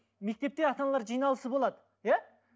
мектепте ата аналар жианлысы болады иә